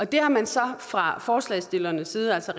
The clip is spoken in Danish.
det har man så fra forslagsstillernes side altså